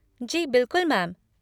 जी बिलकुल मैम।